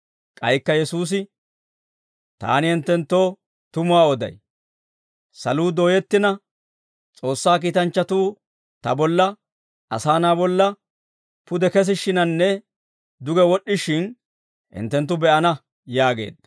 K'aykka Yesuusi, «Taani hinttenttoo tumuwaa oday; saluu dooyettina, S'oossaa kiitanchchatuu ta bolla, Asaa Na'aa bolla, pude kesishshiinanne duge wod'd'ishiin, hinttenttu be'ana» yaageedda.